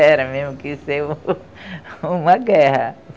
Era mesmo que ia ser uma guerra.